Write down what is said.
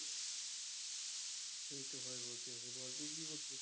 এইতো ভাই বসে আছি বল তুই কী করছিস?